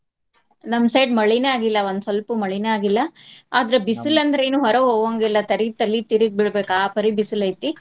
ನಮ್ side ಮಳಿನ ಆಗಿಲ್ಲಾ ಒಂದ್ ಸ್ವಲ್ಪು ಮಳಿನ ಆಗಿಲ್ಲಾ. ಆದ್ರ ಬಿಸಲ್ ಅಂದ್ರ ಏನು ಹೊರಗ್ ಹೋಗಂಗಿಲ್ಲ ತರಿಗೆ ತಲಿ ತಿರಗಿ ಬೀಳ್ಬೇಕ್ ಆ ಪರಿ ಬಿಸಲ್ ಐತಿ.